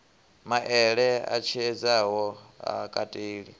maele a tshiedziso ha kateli